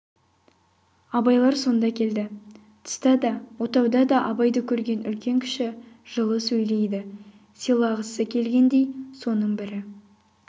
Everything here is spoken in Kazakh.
абайлар сонда келді тыста да отауда да абайды көрген үлкен-кіші жылы сөйлейді сыйлағысы келгендей соның бірі